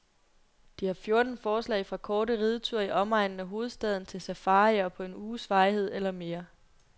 De har fjorten forslag fra korte rideture i omegnen af hovedstaden til safarier på en uges varighed eller mere.